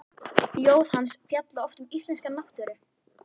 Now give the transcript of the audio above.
Ljóð hans fjalla oft um íslenska náttúru.